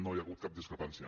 no hi ha hagut cap discrepància